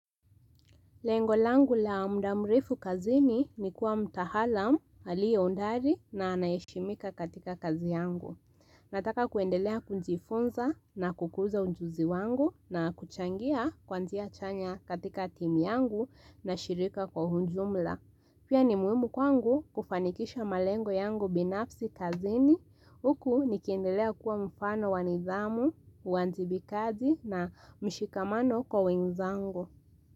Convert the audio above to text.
Lengo langu la mda mrefu kazini, ni kuwa mtahalam, aliyoondari na anayeheshimika katika kazi yangu. Nataka kuendelea kunjifunza na kukuza unjuzi wangu na kuchangia kwanzia chanya katika timu yangu na shirika kwa hunjumla. Pia ni muhimu kwangu kufanikisha malengo yangu binafsi kazini. Huku nikiendelea kuwa mfano nidhamu, uwanjibikaji na mshikamano kwa wenzangu.